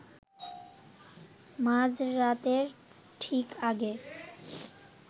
মাঝরাতের ঠিক আগে